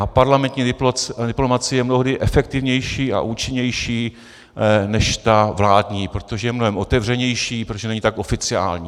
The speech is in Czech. A parlamentní diplomacie je mnohdy efektivnější a účinnější než ta vládní, protože je mnohem otevřenější, protože není tak oficiální.